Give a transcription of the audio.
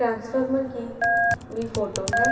Transformer की भी photo है।